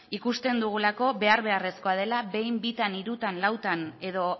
ikusten dugulako behar beharrezkoa dela behin bitan hirutan lautan edo